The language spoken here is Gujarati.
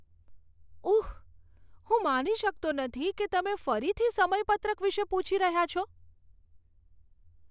ઉહ, હું માની શકતો નથી કે તમે ફરીથી સમયપત્રક વિશે પૂછી રહ્યા છો!